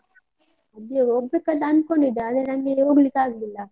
ಅದೇ ಹೋಗ್ಬೇಕಂತ ಅನ್ಕೊಂಡಿದ್ದೆ, ಆದ್ರೆ ನಂಗೆ ಹೋಗ್ಲಿಕ್ಕೆ ಆಗ್ಲಿಲ್ಲ.